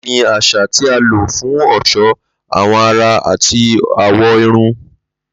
Laali ni aṣa ti a lo fun ọṣọ awọ ara ati awọ irun.